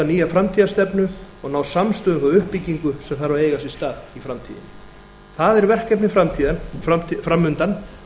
nýja framtíðarstefnu og ná samstöðu um þá uppbyggingu sem þarf að eiga sér stað í framtíðinni það er verkefnið fram undan